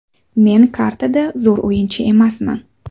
Men qartada zo‘r o‘yinchi emasman.